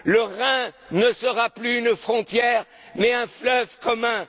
Le Rhin ne sera plus une frontière mais un fleuve